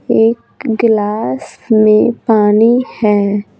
एक गिलास में पानी है।